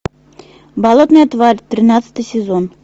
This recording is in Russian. болотная тварь тринадцатый сезон